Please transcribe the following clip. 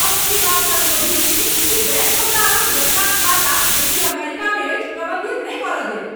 हम एहि बातसँ क्रोधित छी कि बैंक हमरा अपन बच्चाक खाता, जे कि अमेरिकामे अछि, प्रबन्धित नहि करय देत।